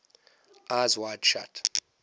eyes wide shut